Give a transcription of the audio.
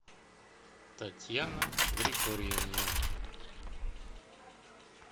татьяна григорьевна